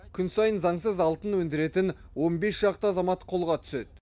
күн сайын заңсыз алтын өндіретін он бес шақты азамат қолға түседі